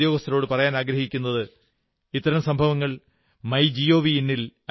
ഞാൻ ബാങ്കിലെ ഉദ്യോഗസ്ഥരോടു പറയാനാഗ്രഹിക്കുന്നത് ഇത്തരം സംഭവങ്ങൾ മൈ ജിഒവി